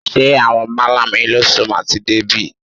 Ṣé àwọn málà eléso máa ti dé bè?